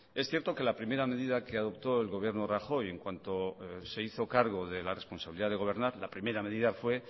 es cierto que la primera medida que adoptó el gobierno de rajoy en cuanto se hizo cargo de la responsabilidad de gobernar la primera medida fue